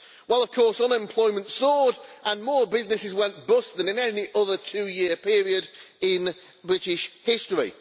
Well, of course, unemployment soared and more businesses went bust than in any other two year period in British history.